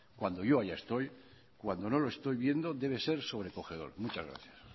cuando yo allá estoy cuando no lo estoy viendo debe ser sobrecogedor muchas gracias